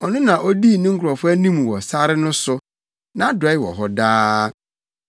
Ɔno na odii ne nkurɔfo anim wɔ sare no so. Nʼadɔe wɔ hɔ daa.